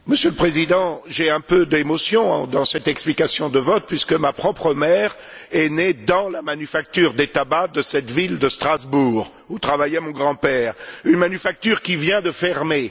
Monsieur le Président, j'ai un peu d'émotion dans cette explication de vote, puisque ma propre mère est née dans la manufacture des tabacs de cette ville de Strasbourg où travaillait mon grand père, une manufacture qui vient de fermer.